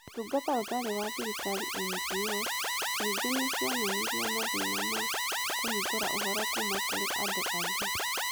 Ũtungata Ũtarĩ wa Thirikari (NGOs) ningĩ nĩ cionanirie mathĩĩna ma kũhingũra ũhoro kuuma kũrĩ andũ angĩ.